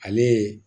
Ale ye